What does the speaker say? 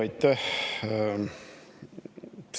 Aitäh!